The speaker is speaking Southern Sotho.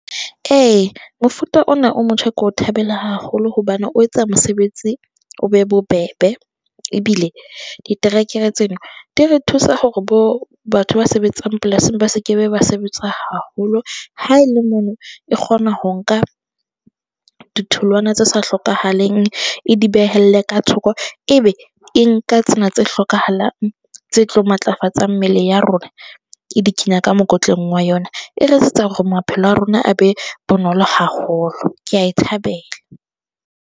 E, mofuta ona o motjha ke o thabela haholo hobane o etsa mosebetsi o be bobebe, ebile diterekere tseno di re thusa hore bo batho ba sebetsang polasing ba se ke be ba sebetsa haholo. Ha e le mono e kgona ho nka, ditholwana tse sa hlokahaleng, e di behelle ka thoko. E be e nka tsena tse hlokahalang, tse tlo matlafatsang mmele ya rona e di kenya ka mokotleng wa yona. E re etsetsa hore maphelo a rona a be bonolo haholo. Ke a e thabela.